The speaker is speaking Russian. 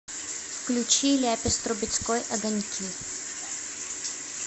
включи ляпис трубецкой огоньки